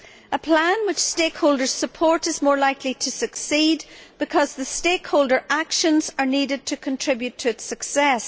A plan with stakeholders' support is more likely to succeed because the stakeholder actions are needed to contribute to its success.